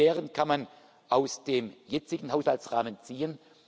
Diese Lehren kann man aus dem jetzigen Haushaltsrahmen ziehen.